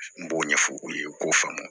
N b'o ɲɛfɔ u ye k'o faamu